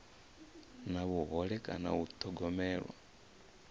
na vhuhole kana u thogomelwa